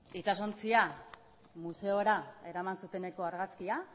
itsasontzia museora eraman zuteneko argazkia